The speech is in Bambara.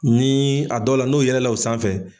Ni a dɔw la, n'o yɛlɛla o sanfɛ.